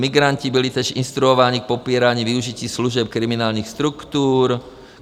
Migranti byli též instruováni k popírání využití služeb kriminálních struktur.